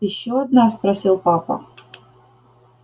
ещё одна спросил папа